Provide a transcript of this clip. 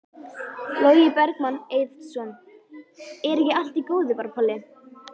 Logi Bergmann Eiðsson: Er ekki allt í góðu bara Palli?